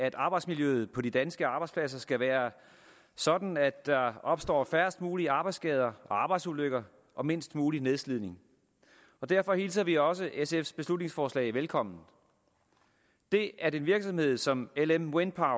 at arbejdsmiljøet på de danske arbejdspladser skal være sådan at der opstår færrest mulige arbejdsskader og arbejdsulykker og mindst mulig nedslidning derfor hilser vi også sfs beslutningsforslag velkommen det at en virksomhed som lm wind